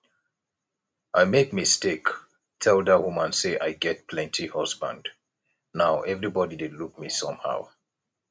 i make mistake tell dat woman say i get plenty husband now everybody dey look me somehow